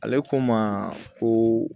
Ale ko ma ko